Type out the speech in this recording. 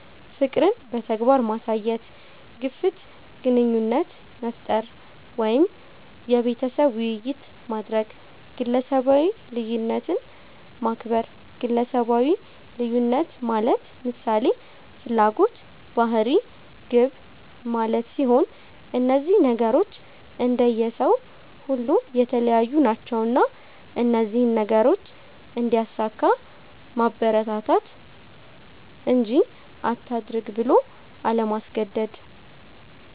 ፍቅርን በተግባር ማሳየት፣ ግፍት ግንኙነት መፍጠር ወይም የቤተሰብ ዉይይት ማድረግ፣ ግለሰባዊ ልዩነትን ማክበር ግለሰባዊ ልዩነት ማለት ምሳሌ፦ ፍላጎት፣ ባህሪ፣ ግብ ማለት ሲሆን እነዚህ ነገሮች እንደየ ሰዉ ሁሉ የተለያዩ ናቸዉና እነዚህን ነገሮች እንዲያሳካ ማበረታታት እንጂ አታድርግ ብሎ አለማስገደድ።